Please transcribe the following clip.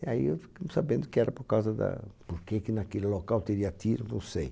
E aí eu fiquei sabendo que era por causa da... Por que que naquele local teria tiro, não sei.